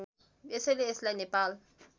यसैले यसलाई नेपालको